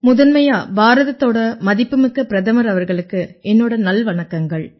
முதன்மையா பாரதத்தோட மதிப்புமிக்க பிரதமர் அவர்களுக்கு என்னோட நல்வணக்கங்கள்